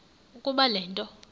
ukuba le nto